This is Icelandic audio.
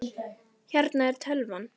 Hérna er tölvan.